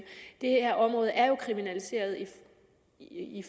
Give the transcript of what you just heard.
det her område er jo kriminaliseret i